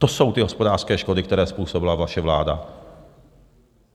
To jsou ty hospodářské škody, které způsobila vaše vláda.